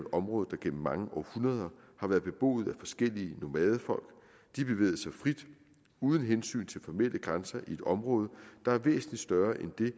område der gennem mange århundreder har været beboet af forskellige nomadefolk de bevægede sig frit uden hensyn til formelle grænser i et område der er væsentlig større end det